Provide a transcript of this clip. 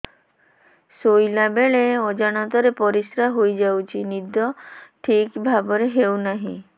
ଶୋଇଲା ବେଳେ ଅଜାଣତରେ ପରିସ୍ରା ହୋଇଯାଉଛି ନିଦ ଠିକ ଭାବରେ ହେଉ ନାହିଁ